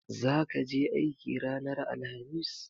Zaka je aiki ranar alhamis?